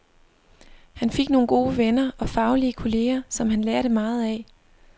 Han fik nogle gode venner og faglige kolleger, som han lærte meget af.